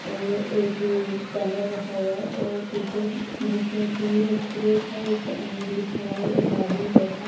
और एक पैनल रखा हुआ है और पीछे बुक्स रखी हुई है एक फ्रिज है जिस पे अमूल लिखा हुआ है एक आदमी बैठा है।